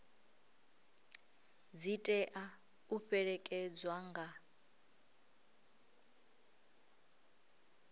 dzi tea u fhelekedzwa nga